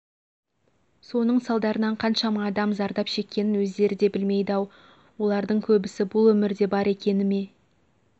соның салдарынан қаншама адам зардап шеккенін өздері де білмейді-ау олардың көбісі бұл өмірде бар екеніне мен